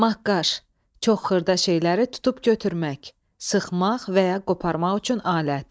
Maqqaj – çox xırda şeyləri tutub götürmək, sıxmaq və ya qoparmaq üçün alət.